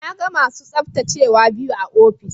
Na ga masu tsaftacewa biyu a ofis.